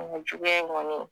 Juguya in kɔni